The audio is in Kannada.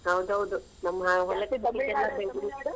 ಹೌದೌದು ನಮ್ಮ್ .